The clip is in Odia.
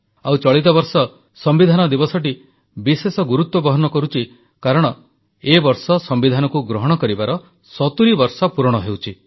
ଆଉ ଚଳିତ ବର୍ଷ ସମ୍ବିଧାନ ଦିବସଟି ବିଶେଷ ଗୁରୁତ୍ୱ ବହନ କରୁଛି କାରଣ ଏ ବର୍ଷ ସମ୍ବିଧାନକୁ ଗ୍ରହଣ କରିବାର 70 ବର୍ଷ ପୂରଣ ହେଉଛି